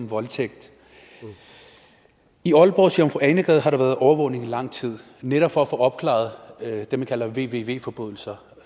voldtægt i aalborgs jomfru ane gade har der været overvågning i lang tid netop for at få opklaret det man kalder vvv forbrydelser